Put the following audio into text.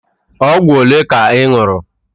Ọgwụ ole ka ị ñụrụ?